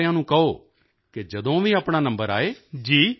ਅਤੇ ਸਾਰਿਆਂ ਨੂੰ ਕਹੋ ਕਿ ਜਦੋਂ ਵੀ ਆਪਣਾ ਨੰਬਰ ਆਏ